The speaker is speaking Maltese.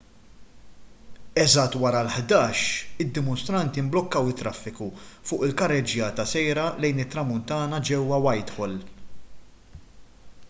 eżatt wara l-11:00 id-dimostranti mblukkaw it-traffiku fuq il-karreġġjata sejra lejn it-tramuntana ġewwa whitehall